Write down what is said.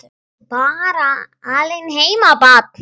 Ertu bara alein heima barn?